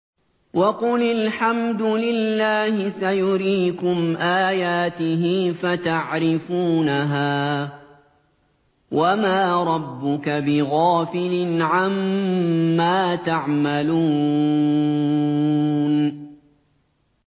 وَقُلِ الْحَمْدُ لِلَّهِ سَيُرِيكُمْ آيَاتِهِ فَتَعْرِفُونَهَا ۚ وَمَا رَبُّكَ بِغَافِلٍ عَمَّا تَعْمَلُونَ